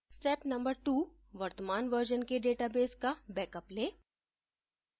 step no 2: वर्तमान version के database का बेकअप लें